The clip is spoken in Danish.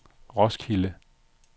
Roskilde